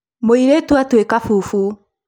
mũirĩtu atũĩka bubu